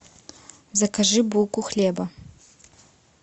закажи булку хлеба